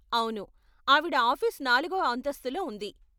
అవును, ఆవిడ ఆఫీస్ నాలుగవ అంతస్తులో ఉంది.